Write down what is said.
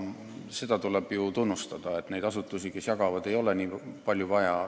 Seda tuleb ju tunnistada, et neid asutusi, kes raha jagavad, ei ole nii palju vaja.